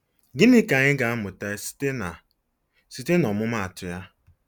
Gịnị ka anyị ga-amụta site na site na ọmụmaatụ ya?